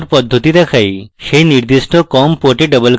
সেই নির্দিষ্ট com port double click করুন